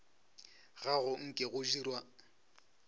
ga go nke go dirwa